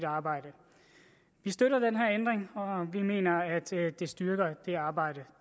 arbejde vi støtter den her ændring og vi mener at det styrker det arbejde